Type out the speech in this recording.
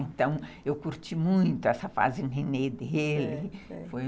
Então, eu curti muito essa fase nenêm dele.